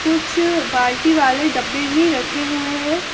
कुछ बाल्टी वाले डब्बे भी रखे हुए हैं।